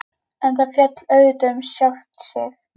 En það féll auðvitað um sjálft sig.